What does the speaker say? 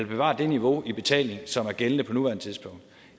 bevare det niveau i betalingen som er gældende på nuværende tidspunkt